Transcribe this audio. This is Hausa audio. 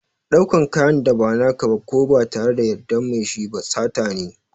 Ɗaukan kayan da ba na ka ba ko ba tare da yardar mai shi ba sata ne.